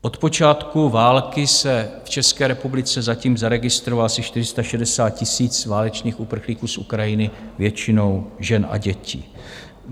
Od počátku války se v České republice zatím zaregistrovalo asi 460 000 válečných uprchlíků z Ukrajiny, většinou žen a dětí.